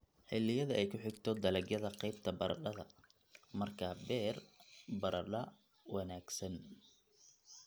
xilliyada ay ku xigto dalagyada qaybta baradhada. Markaa beer baradho wareegsan